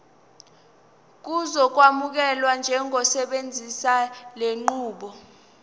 uzokwamukelwa njengosebenzisa lenqubo